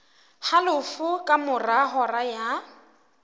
halofo ka mora hora ya